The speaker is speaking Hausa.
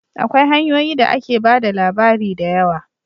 Akwai hanyoyi da ake ba da labari da yawa